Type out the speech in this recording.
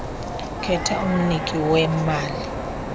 khetha umniki wemali